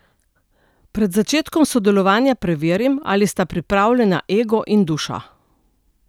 Pred začetkom sodelovanja preverim, ali sta pripravljena ego in duša.